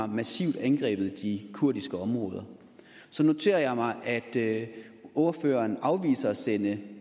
massivt har angrebet de kurdiske områder så noterer jeg mig at ordføreren afviser at sende